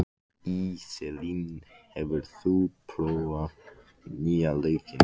Íselín, hefur þú prófað nýja leikinn?